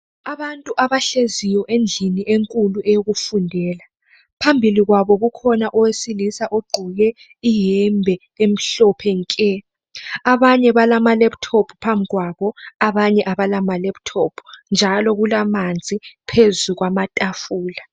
Abantu abahleziyo endlini enkulu eyokufundela phambilii kwabo kukhona owesilisa ogqoke iyembe emhlophe nke, abanye balama laptop abanye abala njalo kulamanzi phezu kwama tafula.